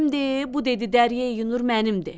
bu dedi dəryəyi Nur mənimdir.